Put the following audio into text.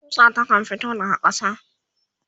tsutsa ta kan fito daga ƙasa